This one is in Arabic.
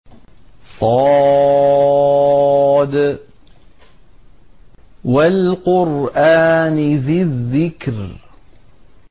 ص ۚ وَالْقُرْآنِ ذِي الذِّكْرِ